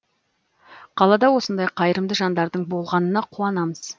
қалада осындай қайырымды жандардың болғанына қуанамыз